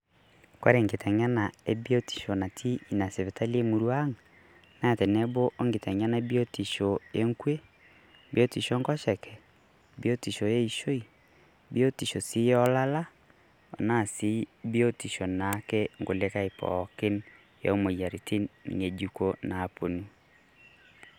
Kore kiteng'ena e biotisho natii enia sipitali e murrua ang', naa teneboo o kiteng'ena e biotisho e nkuee, biotisho e nkosheke, biotisho e ishoo, biotisho sii olaala ana sii biotisho naake nkulikai pookin e moyarritin nyejukoo naapono.